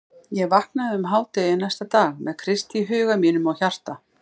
Ég vaknaði um hádegi næsta dag með Krist í huga mínum og hjarta.